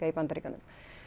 í Bandaríkjunum